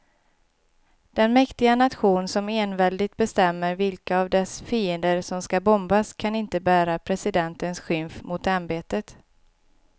Den mäktiga nation som enväldigt bestämmer vilka av dess fiender som ska bombas kan inte bära presidentens skymf mot ämbetet.